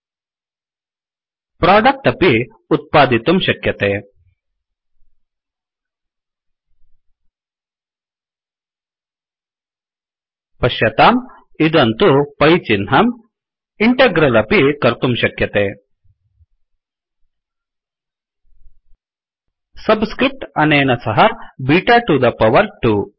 product अपि उत्पादितुं शक्यते पश्यतां इदं तु पै चिह्नम् इण्टग्रल् अपि कर्तुं शक्यते सब् स्क्रिफ्ट् अनेन सह बिटा टु द पवर् 2